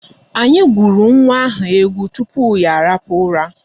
Anyị gụụrụ nwa ahụ egwu tupu ya arahụ ụra.